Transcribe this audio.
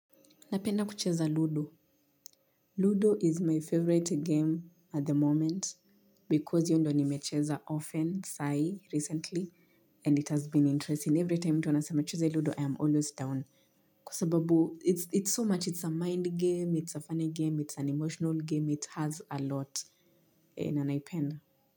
Napenda kucheza. Ludo. Ludo is my favorite game at the moment because hiyo ndio nimecheza often sai recently and it has been interesting. Every time tunasema cheza Ludo, I am always down. Kwa sababu, it's so much, it's a mind game, it's a funny game, it's an emotional game, it has a lot. Na naipenda.